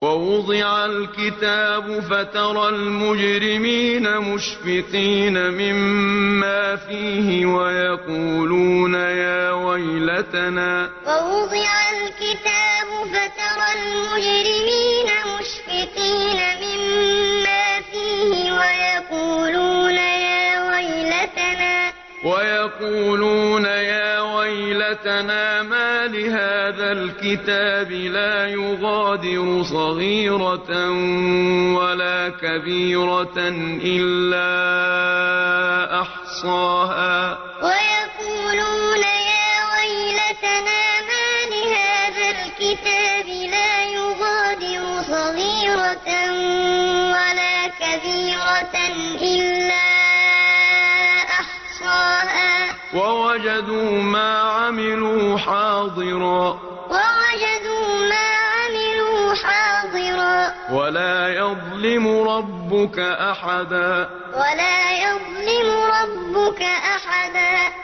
وَوُضِعَ الْكِتَابُ فَتَرَى الْمُجْرِمِينَ مُشْفِقِينَ مِمَّا فِيهِ وَيَقُولُونَ يَا وَيْلَتَنَا مَالِ هَٰذَا الْكِتَابِ لَا يُغَادِرُ صَغِيرَةً وَلَا كَبِيرَةً إِلَّا أَحْصَاهَا ۚ وَوَجَدُوا مَا عَمِلُوا حَاضِرًا ۗ وَلَا يَظْلِمُ رَبُّكَ أَحَدًا وَوُضِعَ الْكِتَابُ فَتَرَى الْمُجْرِمِينَ مُشْفِقِينَ مِمَّا فِيهِ وَيَقُولُونَ يَا وَيْلَتَنَا مَالِ هَٰذَا الْكِتَابِ لَا يُغَادِرُ صَغِيرَةً وَلَا كَبِيرَةً إِلَّا أَحْصَاهَا ۚ وَوَجَدُوا مَا عَمِلُوا حَاضِرًا ۗ وَلَا يَظْلِمُ رَبُّكَ أَحَدًا